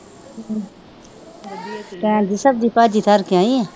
ਸਬਜ਼ੀ ਭਾਜੀ ਧਰਕੇ ਆਈ ਹਾਂ